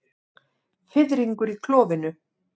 Fiðringur í klofinu.